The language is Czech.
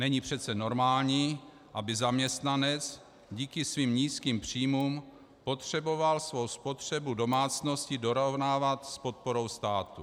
Není přece normální, aby zaměstnanec díky svým nízkým příjmům potřeboval svou spotřebu domácností dorovnávat s podporou státu.